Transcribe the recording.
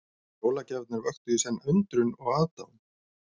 Jólagjafirnar vöktu í senn undrun og aðdáun.